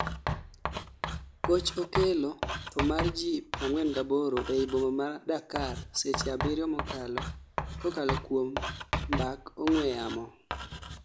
Goch okelo thoo mar ji 48 ei boma ma Dakar seche 7 mokalo kokalo kuom mbak ong'weyamo